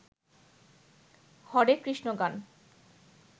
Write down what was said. হরে কৃষ্ণ গান